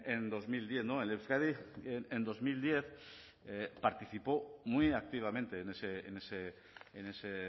en dos mil diez en euskadi en dos mil diez participó muy activamente en ese